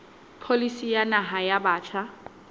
pholisi ya naha ya batjha